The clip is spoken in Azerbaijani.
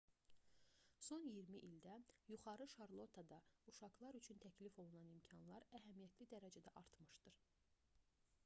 son 20 ildə yuxarı şarlottada uşaqlar üçün təklif olunan imkanlar əhəmiyyətli dərəcədə artmışdır